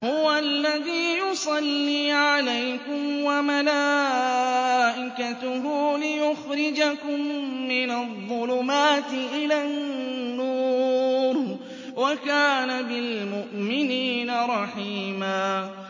هُوَ الَّذِي يُصَلِّي عَلَيْكُمْ وَمَلَائِكَتُهُ لِيُخْرِجَكُم مِّنَ الظُّلُمَاتِ إِلَى النُّورِ ۚ وَكَانَ بِالْمُؤْمِنِينَ رَحِيمًا